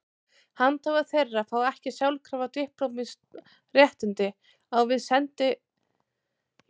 Handhafar þeirra fá ekki sjálfkrafa diplómatísk réttindi á við sendierindreka utanríkisþjónustunnar.